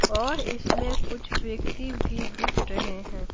और इसमें कुछ व्यक्ति भी दिख रहे हैं।